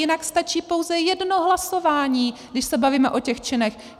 Jinak stačí pouze jedno hlasování, když se bavíme o těch činech.